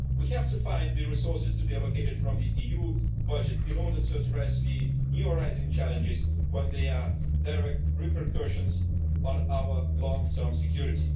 We have to find the resources to be allocated from the EU budget in order to address the newly arising challenges when there are direct repercussions on our long term security.